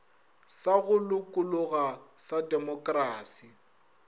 sa go lokologa sa demokrasi